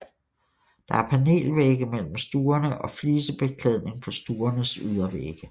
Der er panelvægge mellem stuerne og flisebeklædning på stuernes ydervægge